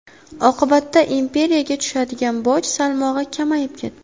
Oqibatda imperiyaga tushadigan boj salmog‘i kamayib ketdi.